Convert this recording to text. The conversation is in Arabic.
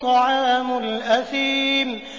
طَعَامُ الْأَثِيمِ